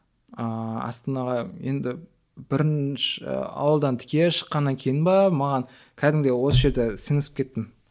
ааа астанаға енді бірінші ауылдан тіке шыққаннан кейін бе маған кәдімгідей осы жерде сіңісіп кеттім